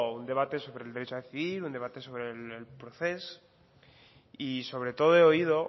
un debate sobre el derecho a decidir un debate sobre el proceso y sobre todo he oído